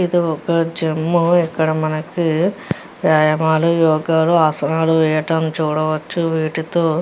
ఇది ఒక జిమ్ము . ఇక్కడ మనకి వ్యాయమాలు యోగాలు ఆసనాలు వేయడం చూడవచ్చు. వీటితో --